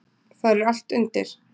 Þar er allt undir.